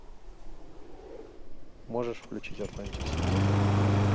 можешь включить атлантик сити